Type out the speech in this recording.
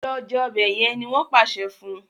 Lọ jé ọbẹ yen! ní wón pàṣẹ fún.